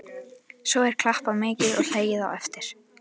Svo er klappað mikið og hlegið á eftir.